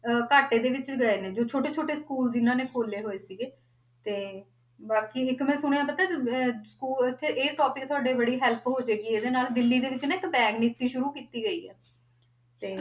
ਅਹ ਘਾਟੇ ਦੇ ਵਿੱਚ ਰਹਿ ਗਏ ਜੋ ਛੋਟੇ ਛੋਟੇ school ਜਿੰਨਾਂ ਨੇ ਖੋਲੇ ਹੋਏ ਸੀਗੇ ਤੇ ਬਾਕੀ ਇੱਕ ਮੈਂ ਸੁਣਿਆ ਪਤਾ ਅਹ school ਇੱਥੇ ਇਹ topic ਤੁਹਾਡੀ ਬੜੀ help ਹੋ ਜਾਏਗੀ ਇਹਦੇੇ ਨਾਲ ਦਿੱਲੀ ਦੇ ਵਿੱਚ ਨਾ ਇੱਕ bag ਨੀਤੀ ਸ਼ੂਰੂ ਕੀਤੀ ਗਈ ਆ, ਤੇ